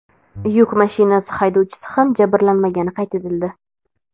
Yuk mashinasi haydovchisi ham jabrlanmagani qayd etildi.